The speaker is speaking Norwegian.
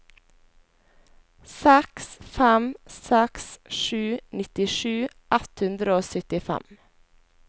seks fem seks sju nittisju ett hundre og syttifem